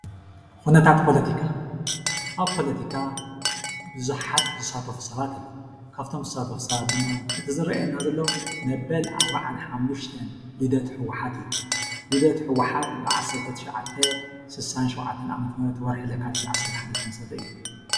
ኩነታት ፖለቲካ፦ አብ ፖለቲካ ብዙሓት ዝሳተፉ ሰባት አለው። ካብ እቶም ዝሳተፉ ሰባት ድማ እቲ ዘርእየና ዘሎ መበል አርባዓን ሓሙሽተን ልደት ህወሓት እዩ። ልደት ህወሓት ብዓሰርተ ትሸዓተ ሱሳን ሸውዓተን ዓመተ ምህረት ወርሒ ለካቲት ዝተመስረተ እዩ።